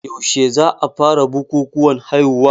Yaushe za a fara bukukuwan haihuwa?